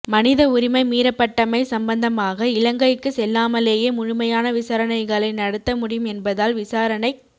மனித உரிமை மீறப்பட்டமை சம்பந்தமாக இலங்கைக்கு செல்லாமலேயே முழுமையான விசாரணைகளை நடத்த முடியும் என்பதால் விசாரணைக்